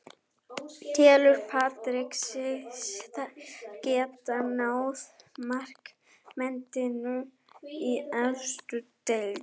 Telur Patrick sig geta náð markametinu í efstu deild?